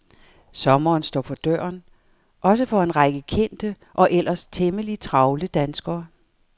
Sommeren står for døren, også for en række kendte og ellers temmelig travle danskere.